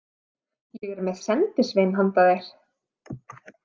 Ég er með sendisvein handa þér.